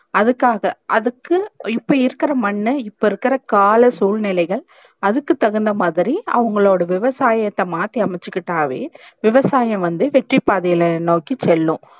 அதுக்காக அதுக்கு இப்ப இருக்குற மண் இப்ப இருக்குற கால சூழ்நிலைகள் அதுக்கு தகுந்தமாதிரி அவுங்களோட விவசாயத்த மாத்தி அமைச்சிகிட்டாவே விவசாயம் வந்து வெற்றி பாதையில நோக்கி செல்லும்